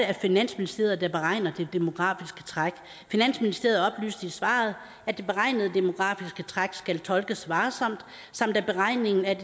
er finansministeriet der beregner det demografiske træk finansministeriet oplyste i svaret at det beregnede demografiske træk skal tolkes varsomt samt at beregningen af